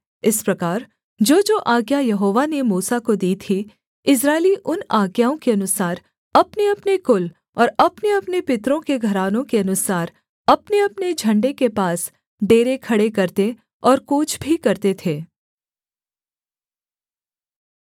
इस प्रकार जोजो आज्ञा यहोवा ने मूसा को दी थी इस्राएली उन आज्ञाओं के अनुसार अपनेअपने कुल और अपनेअपने पितरों के घरानों के अनुसार अपनेअपने झण्डे के पास डेरे खड़े करते और कूच भी करते थे